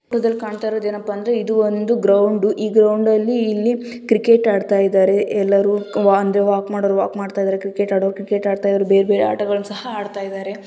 E ಚಿತ್ರದಲ್ಲಿ ಕಾಂತ ಇರೋದು ಏನಪ್ಪಾ ಅಂದ್ರೆ ಇದು ಒಂದು ಗ್ರೌಂಡು ಇ ಗ್ರೌಂಡಲ್ಲಿ ಇಲ್ಲಿ ಕ್ರಿಕೆಟ್ ಅತಾಡ್ತಾ ಇದ್ದಾರೆ ಎಲ್ಲರು ಅಂದ್ರೆ ವಾಕ್ ಮಾಡೋರು ವಾಕ್ ಮಾಡ್ತಾ ಇದ್ದಾರೆ ಕ್ರಿಕೆಟ್ ಆಡೋರು ಕ್ರಿಕೆಟ್ ಅಡತ ಇದ್ದಾರೆ ಬೇರೆ ಬೇರೆ ಆಟಗಲ್ಲಣ್ಣ ಸಹ ಅಡತ ಇದ್ದಾರೆ.